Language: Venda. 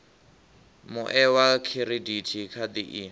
mue wa khiridithi khadi i